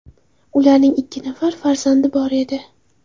Ularning ikki nafari farzandi bor edi.